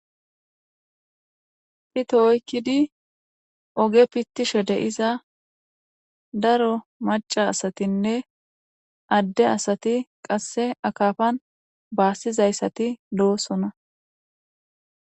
phita oykkidi oge pittishe deiza daro maca asatinne adde asati qasse akafan baassizayssati doosona